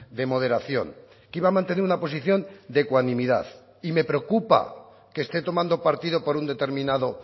de moderación que iba a mantener una posición de ecuanimidad y me preocupa que esté tomando partido por un determinado